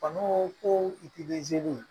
Bana ko ko izini